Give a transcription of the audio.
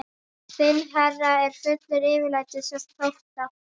Þinn herra er fullur yfirlætis og þótta.